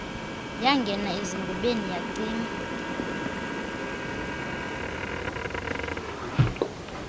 yangena ezingubeni yacinga